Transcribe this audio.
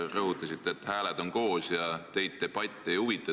Rõhutasite, et hääled on koos ja teid debatt ei huvita.